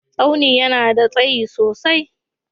Staunin ya na da tsayi sosai.